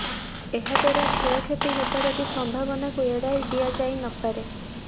ଏହାଦ୍ବାରା କ୍ଷୟକ୍ଷତି ହେବାର ବି ସମ୍ଭାବନାକୁ ଏଡ଼ାଇ ଦିଆଯାଇ ନପାରେ